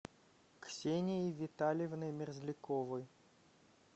ксенией витальевной мерзляковой